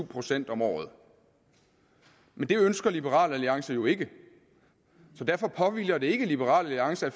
procent om året men det ønsker liberal alliance jo ikke så derfor påhviler det ikke liberal alliance